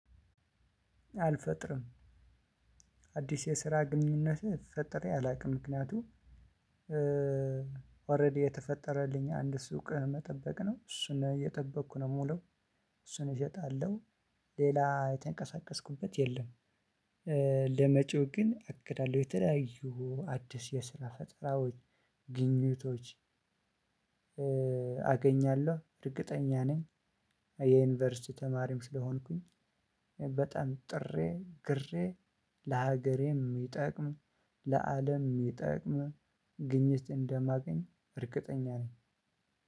አልፈጥርም አዲስ የስራ ግንኙነት ፈጥሬ አላውቅም ምክንያቱም ኦረዲ የተፈጠረልኝ አንድ ሱቅ መጠበቅ ነው እሱን እየጠበኩ ነው የምውለው እሱን እሸጣለሁ። ሌላ የተንቀሳቀስኩበት የለም። ለመጪው ግን አቅዳለሁ የተለያዩ አዲስ የስራ ፈጠራዎች ግኝቶች። አገኛለሁ እርግጠኛ ነኝ። የ ዩኒቨርሲቲ ተማሪም ስለሆንኩኝ። በጣም ጥሬ ግሬ ለሀገሬ የሚጠቅም ለ አለም የሚጠቅም ግኝት እንደማገኝ እርግጠኛ ነኝ።